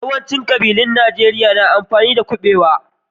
Yawaicin ƙabilun Najeriya su na amfani da kuɓewa.